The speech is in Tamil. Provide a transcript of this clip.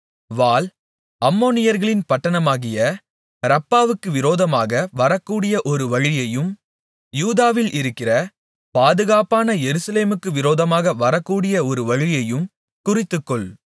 வாள் அம்மோனியர்களின் பட்டணமாகிய ரப்பாவுக்கு விரோதமாக வரக்கூடிய ஒரு வழியையும் யூதாவில் இருக்கிற பாதுகாப்பான எருசலேமுக்கு விரோதமாக வரக்கூடிய ஒரு வழியையும் குறித்துக்கொள்